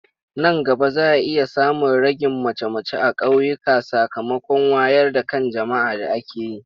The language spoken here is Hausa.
Nan gaba za a iya samun ragin mace-mace a ƙauyuka sakamakon wayar da kan jama'a da ake yi.